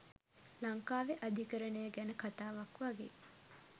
ලංකාවෙ අධිකරණය ගැන කතාවක් වගේ